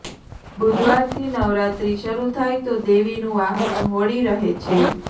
બુધવારથી નવરાત્રી શરૂ થાય તો દેવીનું વાહન હોડી રહે છે